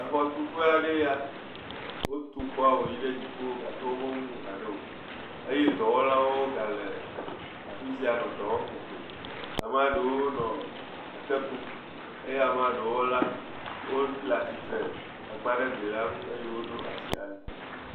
Exɔ tu ƒe aɖe nye ya. Wo tu xɔa wò yi ɖe dziƒo gake wome wu nu hã ɖe wò. Eye dɔwɔlawo gã nɔ fisia nɔ edɔ wɔm kokoko. Amea ɖewo nɔ eke kum, Amea ɖewo le atsitre, egbea ɖe glia nu eye wò ɖo asi anyi.